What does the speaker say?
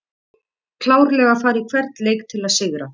Klárlega að fara í hvern leik til að sigra!